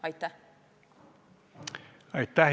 Aitäh!